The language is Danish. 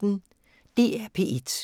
DR P1